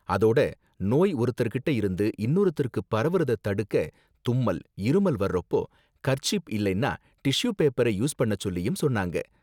அதோட நோய் ஒருத்தர்கிட்ட இருந்து இன்னொருத்தருக்கு பரவுறத தடுக்க தும்மல், இருமல் வர்றப்போ கர்சீப் இல்லைன்னா டிஷ்யூ பேப்பர யூஸ் பண்ணச் சொல்லியும் சொன்னாங்க.